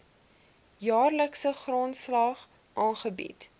jaarlikse grondslag aangebied